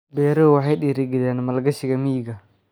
Beeruhu waxay dhiirigeliyaan maalgashiga miyiga.